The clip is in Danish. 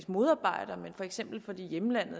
modarbejder men for eksempel fordi man